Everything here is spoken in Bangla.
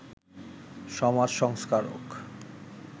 সমাজসংস্কারক